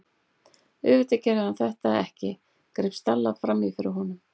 Auðvitað gerði hann þetta ekki- greip Stella fram í fyrir honum.